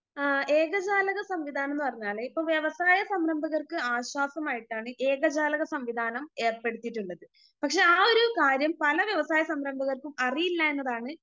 ആ ഏകജാലക സംവിധാനംന്ന് പറഞ്ഞാല് ഇപ്പൊ വ്യവസായ സംരംഭകർക്ക് ആശ്വാസമായിട്ടാണ് ഏകജാലക സംവിധാനം ഏർപ്പെടുത്തിയിട്ടിള്ളത്.പക്ഷെ ആ ഒരു കാര്യം പല വ്യവസായ സംരംഭകർക്കും അറിയില്ല എന്നതാണ്